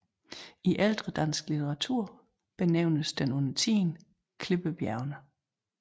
I ældre dansk litteratur benævnes den undertiden Klippebjergene